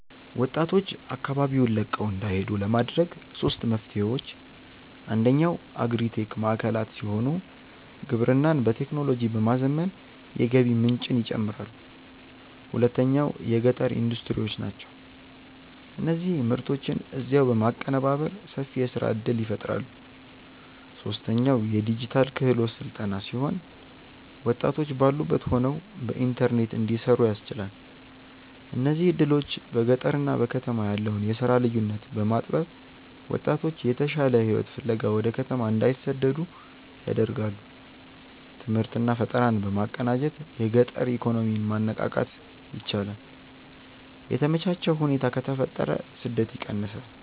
ወጣቶች አካባቢውን ለቀው እንዳይሄዱ ለማድረግ ሦስት መፍትሄዎች፦ አንደኛው አግሪ-ቴክ ማዕከላት ሲሆኑ፣ ግብርናን በቴክኖሎጂ በማዘመን የገቢ ምንጭን ይጨምራሉ። ሁለተኛው የገጠር ኢንዱስትሪዎች ናቸው፤ እነዚህ ምርቶችን እዚያው በማቀነባበር ሰፊ የሥራ ዕድል ይፈጥራሉ። ሦስተኛው የዲጂታል ክህሎት ሥልጠና ሲሆን፣ ወጣቶች ባሉበት ሆነው በኢንተርኔት እንዲሠሩ ያስችላል። እነዚህ ዕድሎች በገጠርና በከተማ ያለውን የሥራ ልዩነት በማጥበብ ወጣቶች የተሻለ ሕይወት ፍለጋ ወደ ከተማ እንዳይሰደዱ ያደርጋሉ። ትምህርትና ፈጠራን በማቀናጀት የገጠር ኢኮኖሚን ማነቃቃት ይቻላል። የተመቻቸ ሁኔታ ከተፈጠረ ስደት ይቀንሳል።